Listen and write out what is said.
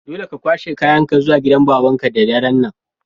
Dole ne ka kwashe kayan ka zuwa gidan baban ka da daren' nan!